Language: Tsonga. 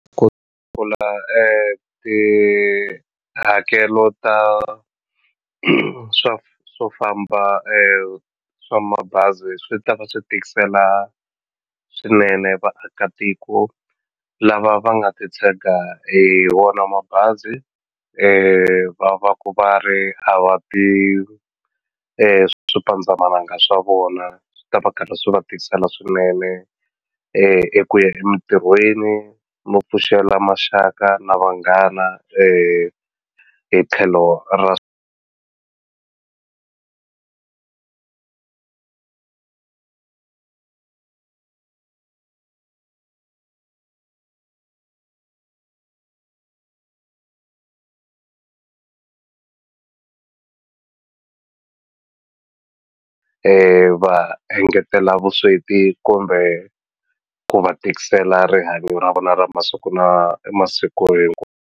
Ku tihakelo ta swa swo famba swa mabazi swi ta va swi tikisela swinene vaakatiko lava va nga titshega hi wona mabazi va va ku va ri a va ti i swipandzamananga swa vona swi ta va karhi swi va tikisela swinene eku ya emitirhweni no pfuxela maxaka na vanghana hi tlhelo ra va engetela vusweti kumbe ku va tikisela rihanyo ra vona ra masiku na masiku .